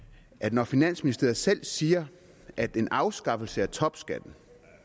når finansministeriet selv siger at en afskaffelse af topskatten